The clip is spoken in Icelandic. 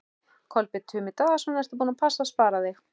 Kolbeinn Tumi Daðason: Ertu búin að passa að spara þig?